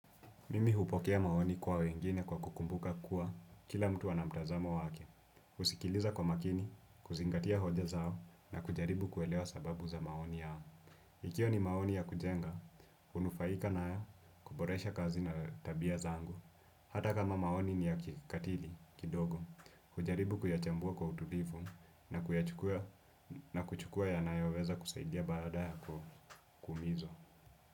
Mimi hupokea maoni kwa wengine kwa kukumbuka kuwa kila mtu ana mtazamo wake. Husikiliza kwa makini, kuzingatia hoja zao na kujaribu kuelewa sababu za maoni yao. Ikiwa ni maoni ya kujenga, hunufaika na yo kuboresha kazi na tabia zangu. Hata kama maoni ni ya kikatili, kidogo, hujaribu kuyachambua kwa utulifu na kuchukua yanayo weza kusaidia baada ya kumizo.